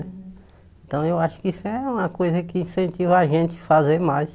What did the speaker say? Então eu acho que isso é uma coisa que incentiva a gente a fazer mais.